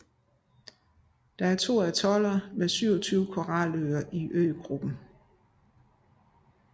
Der er to atoller med 27 koraløer i øgruppen